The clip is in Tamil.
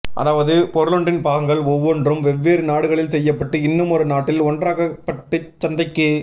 அதாவது பொருளொன்றின் பாகங்கள் ஒவ்வொன்றும் வெவ்வேறு நாடுகளில் செய்யப்பட்டு இன்னுமொரு நாட்டில் ஒன்றாக்கப்பட்டுச் சந்தைக்கு